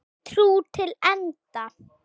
Trú til enda.